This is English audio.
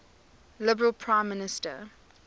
liberal prime minister